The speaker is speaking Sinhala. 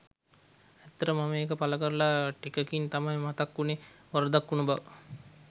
ඇත්තටම මම ඒක පලකරලා ටිකකින් තමයි මතක් උනේ වරදක් උනු බව.